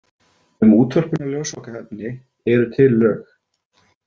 Um útvörpun á ljósvakaefni eru til lög.